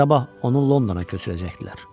Sabah onu Londona köçürəcəkdilər.